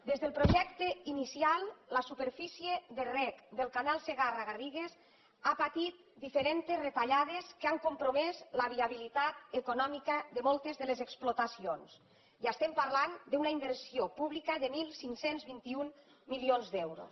des del projecte inicial la superfície de reg del canal segarra garrigues ha patit diferents retallades que han compromès la viabilitat econòmica de moltes de les explotacions i estem parlant d’una inversió pública de quinze vint u milions d’euros